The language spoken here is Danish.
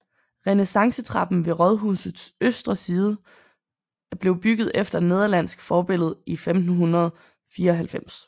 Renaissancetrappen ved rådhusets østre side blev bygget efter nederlandsk forbillede i 1594